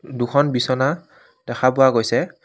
দুখন বিছনা দেখা পোৱা গৈছে।